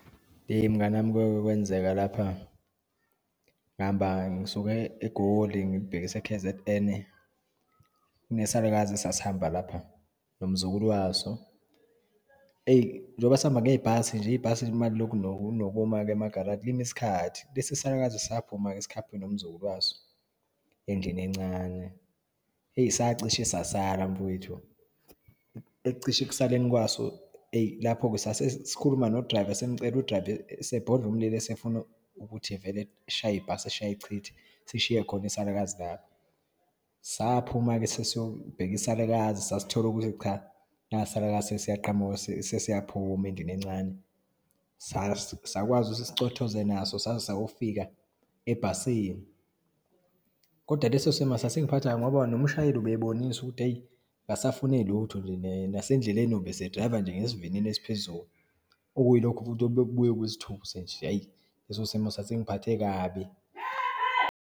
Mngani wami kwake kwenzeka lapha, ngihamba ngisuka eGoli ngilibhekise e-K_Z_N. Kune salukazi esasihamba lapha nomzukulu waso. Eyi, njengoba sihamba ngebhasi nje, ibhasi uma liloku linokuma-ke emagaraji, lime isikhathi. Lesi, salukazi saphuma-ke sikhaphe nomzukulu waso endlini encane. Eyi, sacishe sasala mfowethu, ekucishe ekusaleni kwaso eyi, lapho-ke sasesikhuluma nodrayiva, simcela udrayiva, esebodla umlilo, esefuna ukuthi vele eshaye ibhasi eshaye echithe, sishiye khona isalukazi lapho. Saphuma-ke sesiyobheka isalukazi, sasithola ukuthi cha, nasi isalukazi sesiyanqamuka, sesiyaphuma endlini encane. Sakwazi ukuthi sicothoze naso, saze sayofika ebhasini. Kodwa leso simo sasingiphatha kabi ngoba nomshayeli ubebonisa ukuthi eyi akasafune lutho, nasendleleni ubese drayiva nje ngesivinini esiphezulu, okuyi lokho futhi obekubuye kusithuse nje. Hhay, leso simo sasingiphathe kabi.